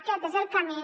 aquest és el camí